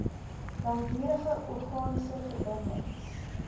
langdurige organiese verbindings